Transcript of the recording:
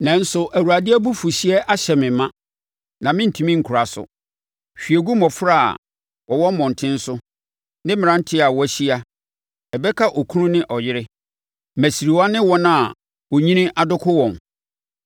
Nanso Awurade abufuhyeɛ ahyɛ me ma, na mentumi nkora so. “Hwie gu mmɔfra a wɔwɔ mmɔntene so ne mmaranteɛ a wɔahyia; ɛbɛka okunu ne ɔyere, mmasiriwa ne wɔn a onyini adoko wɔn.